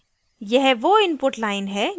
यह वो input line है